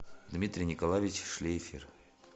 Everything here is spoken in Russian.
дмитрий николаевич шлейфер